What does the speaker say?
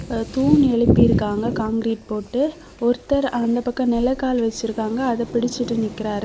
தூண் எழுப்பி இருக்காங்க காங்கிரீட் போட்டு ஒருத்தர் அந்த பக்கம் நிலகால் வச்சிருக்காங்க அத புடிசிட்டு நிக்கிறாரு.